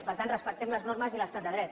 per tant respectem les normes i l’estat de dret